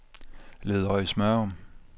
Ledøje-Smørum